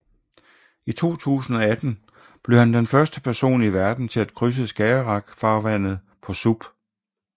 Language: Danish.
I 2018 blev han den første person i verden til at krydse Skagerrak farvandet på SUP